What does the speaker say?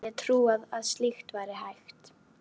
Aldrei hefði ég trúað að slíkt væri hægt.